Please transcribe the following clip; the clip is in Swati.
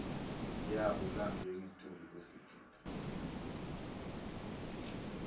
yabo langengetulu kwesigidzi